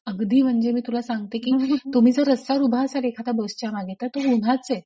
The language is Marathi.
अगदी म्हणजे मी तुला सांगते की तुम्ही जर रस्त्यावर उभे असाल एखाद्या बसच्या मागे तर तो गुन्हाचे.